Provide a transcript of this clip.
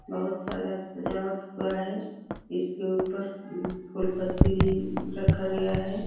बहुत सारा सजावट हुआ है। इसके ऊपर उम फूल पत्ती भी म्म रखा गया है।